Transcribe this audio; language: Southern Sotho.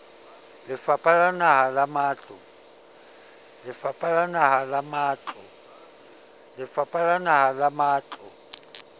lefapha la naha la matlo